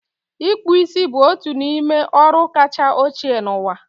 Ịkpų isi bụ otu n'ime ọrụ kacha ochie n'ụwa.